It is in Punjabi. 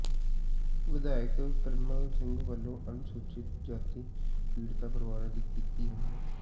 ਵਿਧਾਇਕ ਪਿਰਮਲ ਸਿੰਘ ਵੱਲੋਂ ਅਨੁਸੂਚਿਤ ਜਾਤੀ ਪੀੜਤ ਪਰਿਵਾਰਾਂ ਦੀ ਕੀਤੀ ਹਮਾਇਤ